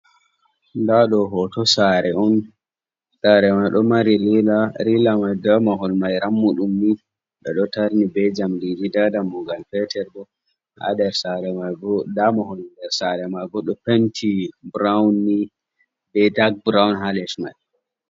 Nda ɗo hoto Sare'on, sare mai ɗo mari rila, rila mai be mahol mai dammuɗum ni. Ɓe ɗo tarni be jamdiji nda dammugal petel bo ha ndes sare mai bo, nda Penti burawunni be dak burawum ha les mai.